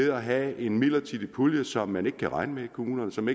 at have en midlertidig pulje som man ikke kan regne med i kommunerne som